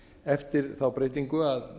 eftir þá breytingu að